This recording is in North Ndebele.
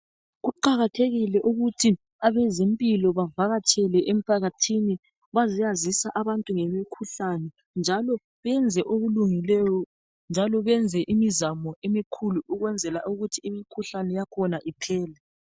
Kuqakathekile ukuthi abezempilo bavakatshele emphakathini bazeyazisa abantu ngemikhuhlane njalo benze okulungileyo njalo benze imizamo emikhulu ukwenzela ukuthi imikhuhlane yakhona iphele.